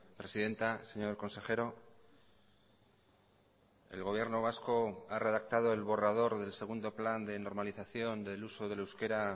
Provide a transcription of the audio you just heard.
presidenta señor consejero el gobierno vasco ha redactado el borrador del segundo plan de normalización del uso del euskera